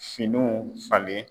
Finiw falen